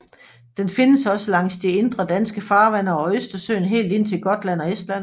Den findes også langs de indre danske farvande og i Østersøen helt ind til Gotland og Estland